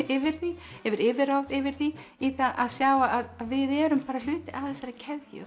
yfir því hefur yfirráð yfir því í það að sjá að við erum bara hluti af þessari keðju